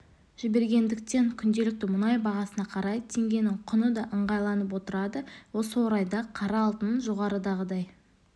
жібергендіктен күнделікті мұнай бағасына қарай теңгенің құны да ыңғайланып отырады осы орайда қара алтын жоғарыдағыдай